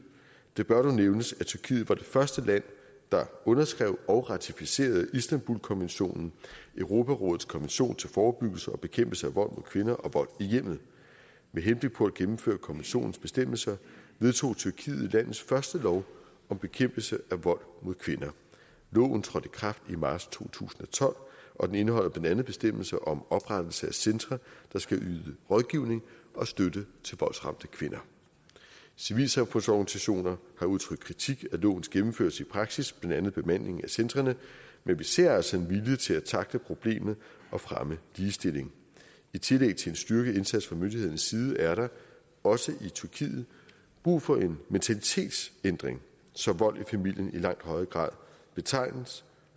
det bør dog nævnes at tyrkiet var det første land der underskrev og ratificerede istanbulkonventionen europarådets konvention til forebyggelse og bekæmpelse af vold mod kvinder og vold i hjemmet med henblik på at gennemføre konventionens bestemmelser vedtog tyrkiet landets første lov om bekæmpelse af vold mod kvinder loven trådte i kraft i marts to tusind og tolv og den indeholder blandt andet bestemmelser om oprettelse af centre der skal yde rådgivning og støtte til voldsramte kvinder civilsamfundsorganisationer har udtrykt kritik af lovens gennemførelse i praksis blandt andet bemandingen af centrene men vi ser altså en vilje til at tackle problemet og fremme ligestilling i tillæg til en styrket indsats fra myndighedernes side er der også i tyrkiet brug for en mentalitetsændring så vold i familien i langt højere grad betragtes